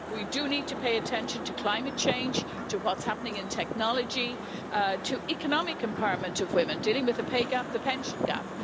We do need to pay attention to climate change, to what's happening in technology, to the economic empowerment of women, and to dealing with the pay gap and the pension gap.